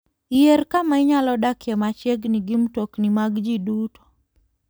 Yier kama inyalo dakie machiegni gi mtokni mag ji duto.